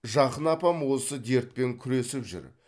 жақын апам осы дертпен күресіп жүр